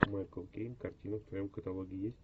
майкл кейн картина в твоем каталоге есть